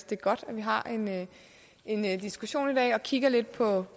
det er godt at vi har en diskussion i dag og kigger lidt på